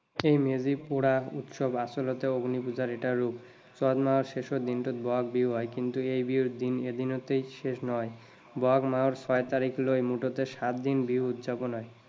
এই মেজি পুৰা উৎসৱ আচলতে অগ্নি পুজাৰ এটা ৰূপ। চত মাহৰ শেষৰ দিনটোত বহাগ বিহু হয়, কিন্তু এই বিহু এদিনতেই শেষ নহয়। বহাগ মাহৰ ছয় তাৰিখলৈ মুঠতে সাত দিন বিহু উদযাপন হয়।